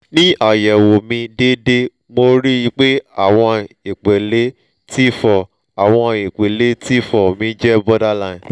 ni ayẹwo mi deede mo ri i pe àwọn ipele t four awọn ipele t four mi je borderline